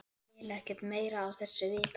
Ég vil ekkert meira af þessu vita.